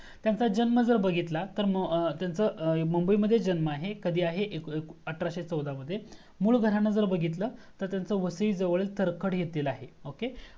त्यांचा जन्म जर बघितला तर त्यांचा मुंबई मधेच जन्म आहे कधी आहे अठराशे चौदा मध्ये मुळ घराण जर बघितला तर वसईजवळ तरखड येथे आहे OKAY